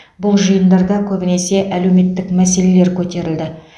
бұл жиындарда көбінесе әлеуметтік мәселелер көтерілді